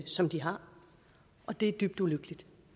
som de har og det er dybt ulykkeligt